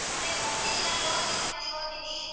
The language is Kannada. ಅದೇ ಬರ್ತಿನ್ ಇವತ್ತು ಹೊತೀನಿ ಮನೆಗ್ ಹೊತೀನಿ.